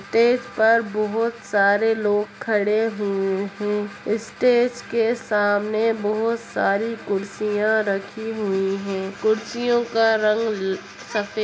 Stage पर बहोत सारे लोग खड़े हुए हैं। स्टेज के सामने बहोत सारी कुर्सियां रखी हुई हैं। कुर्सियों का रंग सफेद --